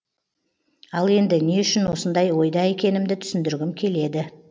ал енді не үшін осындай ойда екенімді түсіндіргім келеді